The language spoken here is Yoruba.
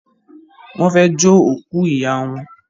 wón fè jo òkú rẹ ìyá wọn.